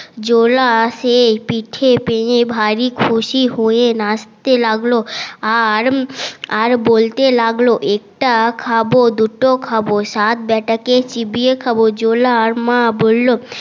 জোলা সে পিঠে পেয়ে ভারি খুশি হয়ে নাচতে লাগলো আর আর বলতে লাগলো একটা খাবো দুটো খাবো সাত বেটা কে চিবিয়ে খাবো জোলার মা বললো